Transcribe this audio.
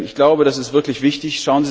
Ich glaube, das ist wirklich wichtig.